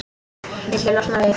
Viltu losna við-?